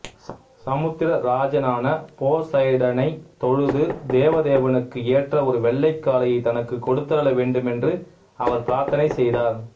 சமுத்திர ராஜனான போசைடனைத் தொழுது தேவதேவனுக்கு ஏற்ற ஒரு வெள்ளை காளையை தனக்குக் கொடுத்தருள வேண்டுமென்று அவர் பிரார்த்தனை செய்தார்